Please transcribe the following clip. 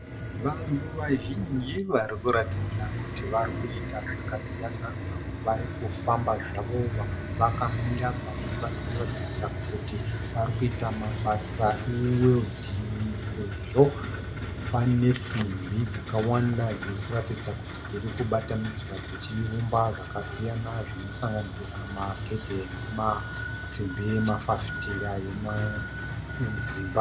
Vanhu vazhinji varikuratidza kuti varikuita zvakasiyana. Vamwe varikufamba zvavo vamwe vakamira. Vamwe varikuratidza kuti varikuita mabasa eweridhinhi sezvo pane simbi dzakawanda dzirikuratidza kuti dzirikubatanidzwa dzichiumba zvakasiyana zvinosanganisira magedhe nemasimbi emafafitera emudzimba.